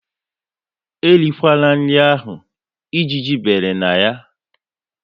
E rikwala nri ahụ! Ejiji bere na ya